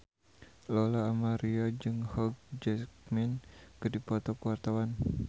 Lola Amaria jeung Hugh Jackman keur dipoto ku wartawan